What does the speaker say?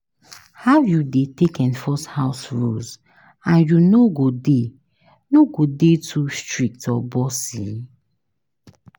How you dey take enforce house rules and you no go dey no go dey too strict or bossy?